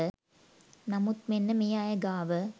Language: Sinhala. නමුත් මෙන්න මේ අය ගාව